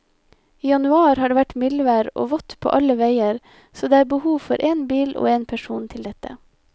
I januar har det vært mildvær og vått på alle veier, så det er behov for én bil og én person til dette.